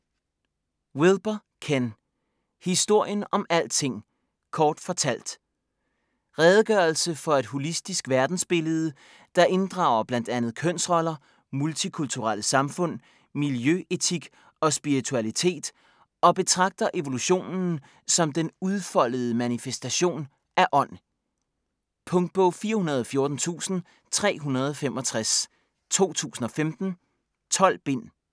Wilber, Ken: Historien om alting - kort fortalt Redegørelse for et holistisk verdensbillede, der inddrager bl.a. kønsroller, multikulturelle samfund, miljøetik og spiritualitet, og betragter evolutionen som den udfoldede manifestation af ånd. Punktbog 414365 2015. 12 bind.